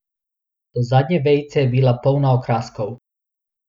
Do zadnje vejice je bila polna okraskov.